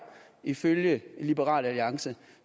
ifølge liberal alliance